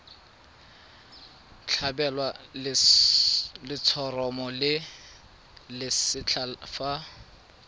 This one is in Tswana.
tlhabelwa letshoroma le lesetlha fa